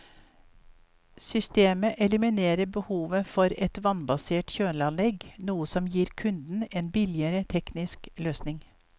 Systemet eliminerer behovet for et vannbasert kjøleanlegg, noe som gir kunden en billigere teknisk løsning.